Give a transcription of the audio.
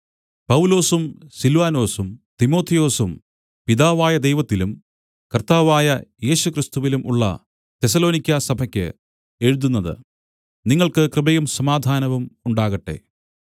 പൗലൊസും സില്വാനൊസും തിമൊഥെയൊസും പിതാവായ ദൈവത്തിലും കർത്താവായ യേശുക്രിസ്തുവിലും ഉള്ള തെസ്സലോനിക്യസഭയ്ക്ക് എഴുതുന്നത് നിങ്ങൾക്ക് കൃപയും സമാധാനവും ഉണ്ടാകട്ടെ